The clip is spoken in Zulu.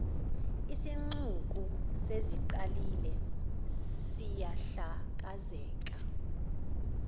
isixuku sesiqalile siyahlakazeka